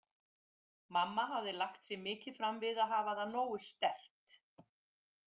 Mamma hafði lagt sig mikið fram við að hafa það nógu sterkt.